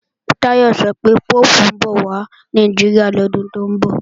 Táyọ̀ sọ pé Póòpù ń bọ̀ wà Nàìjíríà lọ́dún tó ń bọ̀